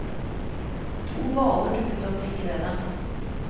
To hvaler dukker opp like ved dem.